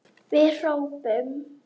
Við hrópum!